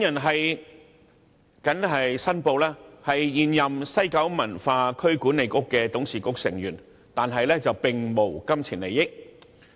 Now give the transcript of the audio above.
我謹此申報，我現為西九文化區管理局的董事局成員，但並無金錢利益。